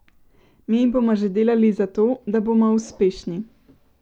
Mi bomo že delali za to, da bomo uspešni.